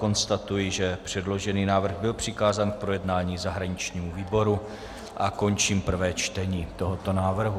Konstatuji, že předložený návrh byl přikázán k projednání zahraničnímu výboru, a končím prvé čtení tohoto návrhu.